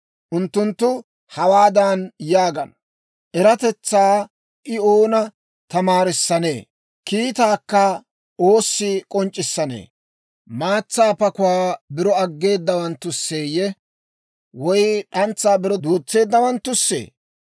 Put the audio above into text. Unttunttu hawaadan yaagana; «Eratetsaa I oona tamaarissanee? Kiitaakka oossi k'onc'c'issanee? Maatsaa pakuwaa biro aggeedawanttusseeyye, woy d'antsaa biro duutseedawanttussee?